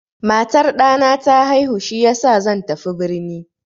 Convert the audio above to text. Matar ɗana ta haihu shiyasa zan tafi birni.